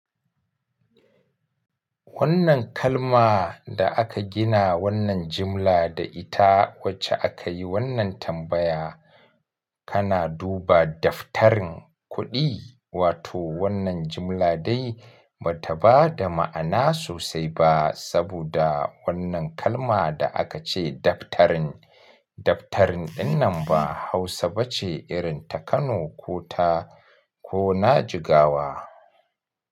Wannan kalma da aka gina wannan jimla da ita wacce aka yi wannan tambaya, kana duba daftarin kuɗi, wato wannan jimla dai ba ta ba da ma'ana sosai ba saboda wannan kalma da aka ce daftarin. Daftarin ɗin nan ba Hausa ba ce irin ta Kano ko ta, ko na Jigawa.